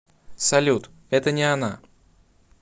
салют это не она